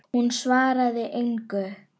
Hún svaraði engu.